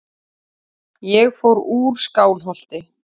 Ég fór úr Skálholti.